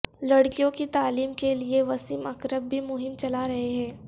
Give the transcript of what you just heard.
لڑکیوں کی تعلیم کے لیے وسیم اکرم بھی مہم چلا رہے ہیں